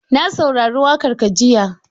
Na saurari waƙar ka jiya.